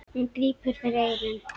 Hún grípur fyrir eyrun.